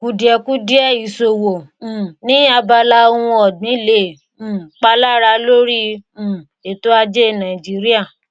kùdìẹ̀kudiẹ ìsòwò um ní abala ohun ọ̀gbìn lè um palara lórí um ètò ajé nàìjíríà.